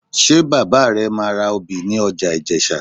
Ṣé bàbá rẹ máa obì ní ọjà Ìjẹ̀sà?